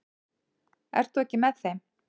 Ert þú ekki með þeim?